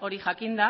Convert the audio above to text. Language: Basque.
hori jakinda